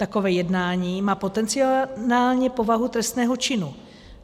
Takové jednání má potenciálně povahu trestného činu.